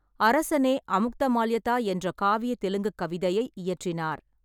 அரசனே அமுக்தமால்யதா என்ற காவிய தெலுங்குக் கவிதையை இயற்றினார்.